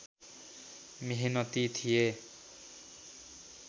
मेहनती थिए